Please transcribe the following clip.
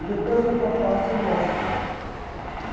E depois a outra parte é em off, quer dizer